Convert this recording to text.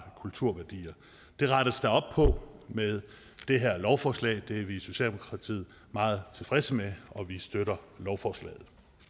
kulturværdier det rettes der op på med det her lovforslag det er vi i socialdemokratiet meget tilfredse med og vi støtter lovforslaget